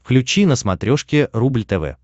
включи на смотрешке рубль тв